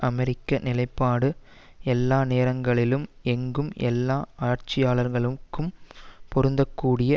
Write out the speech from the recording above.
அமெரிக்க நிலைப்பாடு எல்லா நேரங்களிலும் எங்கும் எல்லா ஆட்சியாளர்களுக்கும் பொருந்தக்கூடிய